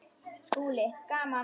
SKÚLI: Gaman!